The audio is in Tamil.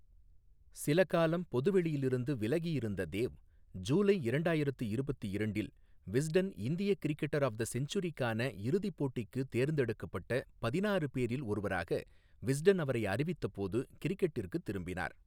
சில காலம் பொதுவெளியில் இருந்து விலகி இருந்த தேவ், ஜூலை இரண்டாயிரத்து இருபத்து இரண்டு இல் விஸ்டன் இந்திய கிரிக்கெட்டர் ஆஃப் தி செஞ்சுரிக்கான இறுதிப் போட்டிக்கு தேர்ந்தெடுக்கப்பட்ட பதினாறு பேரில் ஒருவராக விஸ்டன் அவரை அறிவித்தபோது கிரிக்கெட்டிற்குத் திரும்பினார்.